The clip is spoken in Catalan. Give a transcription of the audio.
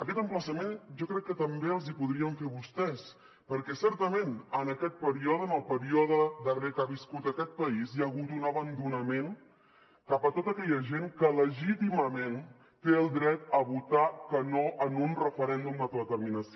aquest emplaçament jo crec que també els hi podríem fer a vostès perquè certament en aquest període en el període darrer que ha viscut aquest país hi ha hagut un abandonament cap a tota aquella gent que legítimament té el dret a votar que no en un referèndum d’autodeterminació